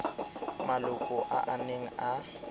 maloko a a neng a